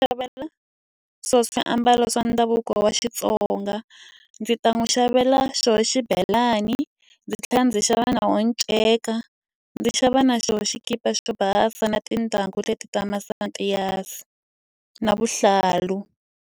Xavela swona swiambalo swa ndhavuko wa Xitsonga. Ndzi ta n'wi xavela xona xibelani, ndzi tlhela ndzi xava na wona nceka, ndzi xava na xona xikipa xona basa na tintangu leti ta masapati na vuhlalu.